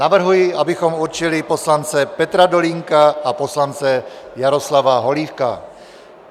Navrhuji, abychom určili poslance Petra Dolínka a poslance Jaroslava Holíka.